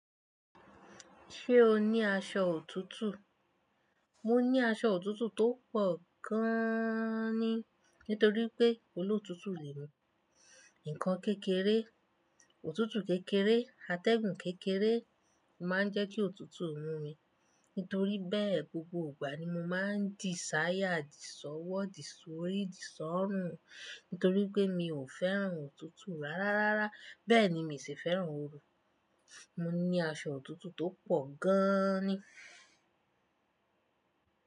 Ṣé o ní aṣọ òtútù? Mo ní aṣọ òtútù tó pọ̀ gaaani nítorí pé olóòtútù ni mí. Ǹkan kékeré, òtútù kékeré, atẹ́gùn kékeré má ń jẹ́ kí òtútù mú mi. Nítorí bẹ́ẹ̀, gbogbo ìgbà ni mo máa ń di sáyà, di sọ́wọ́, di sórí, di sọ́rùn. Nítorí pé mi ò fẹ́ràn òtútù rárárárá. Bẹ́ẹ̀ni mi sì fẹ́ràn oru. Mo ní aṣọ òtútù tó pọ̀ gaaani.